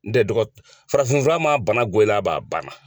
N tɛ dɔgɔ, farafin fura ma na bana bɔ i la ban a ban na.